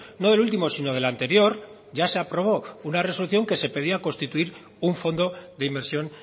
no del último sino del anterior ya se aprobó una resolución que se pedía constituir un fondo de inversión